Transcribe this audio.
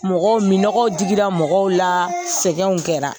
Mɔgɔ minnɔgɔ digira mɔgɔw la sɛgɛnw kɛra.